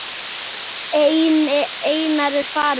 Einar er farinn.